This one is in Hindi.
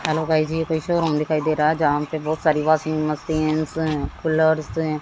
हेलो गाइस ये कोई शोरूम दिखाई दे रहा है जहां पे बहोत सारी वाशिंग मशीनस है कूलर्स है।